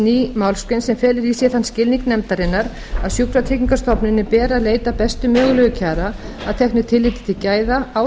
ný málsgrein sem felur í sér þann skilning nefndarinnar að sjúkratryggingastofnuninni beri að leita bestu mögulegra kjara að teknu tilliti til gæða á